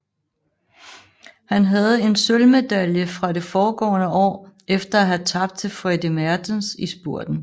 Han havde en sølvmedalje fra det foregående år efter at have tabt til Freddy Maertens i spurten